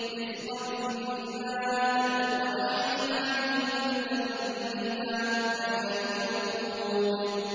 رِّزْقًا لِّلْعِبَادِ ۖ وَأَحْيَيْنَا بِهِ بَلْدَةً مَّيْتًا ۚ كَذَٰلِكَ الْخُرُوجُ